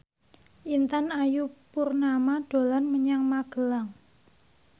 Intan Ayu Purnama dolan menyang Magelang